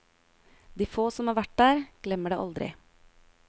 De få som har vært der, glemmer det aldri.